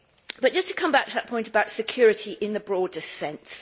But just to come back to that point about security in the broadest sense.